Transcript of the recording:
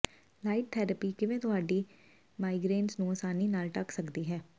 light therapy ਕਿਵੇਂ ਤੁਹਾਡੀ ਮਾਈਗਰੇਨਜ਼ ਨੂੰ ਆਸਾਨੀ ਨਾਲ ਢੱਕ ਸਕਦੀ ਹੈ